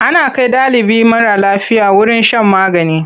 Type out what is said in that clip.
Ana kai ɗalibi mara lafiya wurin shan magani.